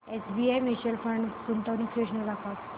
SBI mutual fund गुंतवणूक योजना दाखव